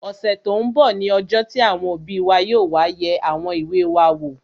Ọ̀sẹ̀ tó n bọ̀ ní ọjọ́ tí àwọn òbí wa yóò wá yẹ àwọn ìwé wa wò